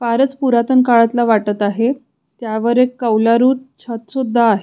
फारच पुरातन काळातल वाटत आहे त्यावर कौलारू छत सुद्धा आहे.